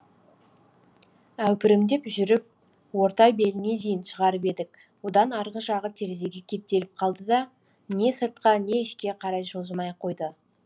әупірімдеп жүріп орта беліне дейін шығарып едік одан арғы жағы терезеге кептеліп қалды да не сыртқа не ішке қарай жылжымай қойды